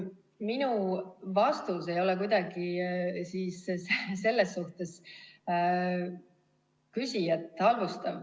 Minu vastus ei ole kuidagi küsijat halvustav.